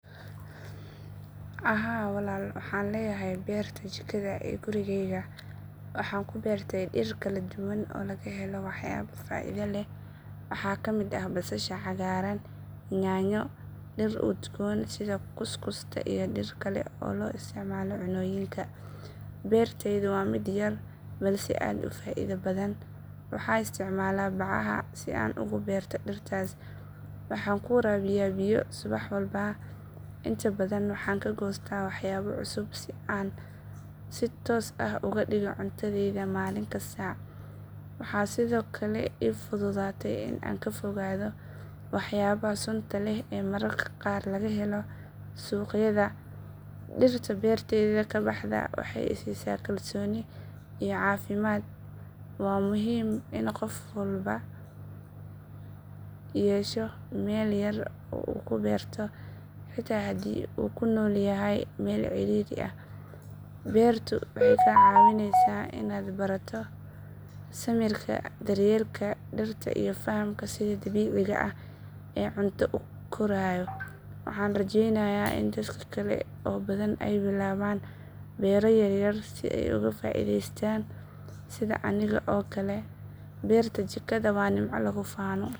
Haa walaal waxaan leeyahay beerta jikada ee gurigeyga. Waxaan ku beertay dhir kala duwan oo laga helo waxyaabo faa’iido leh. Waxaa ka mid ah basasha cagaaran, yaanyo, dhir udgoon sida kuskusta iyo dhir kale oo loo isticmaalo cunnooyinka. Beertaydu waa mid yar balse aad u faa’iido badan. Waxaan isticmaalaa bacaha si aan ugu beerto dhirtaas, waxaana ku waraabiyaa biyo subax walba. Inta badan waxaan ka goostaa waxyaabo cusub oo aan si toos ah uga dhigo cuntadayda maalin kasta. Waxaa sidoo kale ii fududaatay in aan ka fogaado waxyaabaha sunta leh ee mararka qaar laga helo suuqyada. Dhirta beertayda ka baxda waxay i siisaa kalsooni iyo caafimaad. Waa muhiim in qof walba yeesho meel yar oo uu ku beerto, xitaa haddii uu ku nool yahay meel cidhiidhi ah. Beertu waxay kaa caawinaysaa in aad barato samirka, daryeelka dhirta iyo fahamka sida dabiiciga ah ee cunto u koraayo. Waxaan rajeynayaa in dadka kale oo badan ay bilaabaan beero yaryar si ay uga faa’iideystaan sida aniga oo kale. Beerta jikada waa nimco lagu faano.